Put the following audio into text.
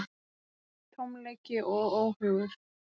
Tómleiki og óhugur.